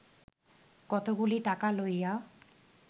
কতকগুলি টাকা লইয়া